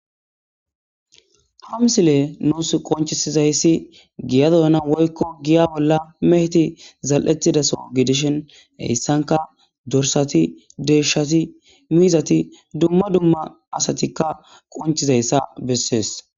Hamsile nuus qonchisizayssi giya doyana woykko giya bolla meheti zal7ettidaso gidishen heyssanka dorsati deeshshati miizati dumma dumma asatikka qonchizayssa bessees.